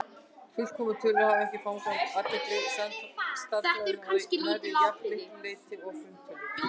Fullkomnar tölur hafa ekki fangað athygli stærðfræðinga að nærri jafn miklu leyti og frumtölurnar.